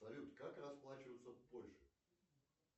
салют как расплачиваться в польше